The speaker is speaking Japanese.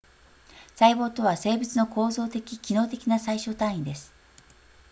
細胞とは生物の構造的機能的な最小単位です